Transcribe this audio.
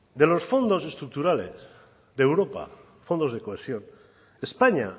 de los fondos estructurales de europa fondos de cohesión españa